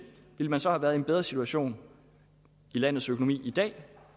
ville man så have været i en bedre situation i landets økonomi i dag